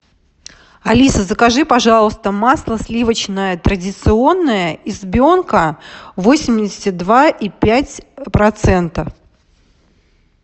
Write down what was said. алиса закажи пожалуйста масло сливочное традиционное избенка восемьдесят два и пять процентов